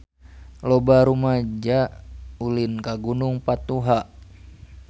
Loba rumaja ulin ka Gunung Patuha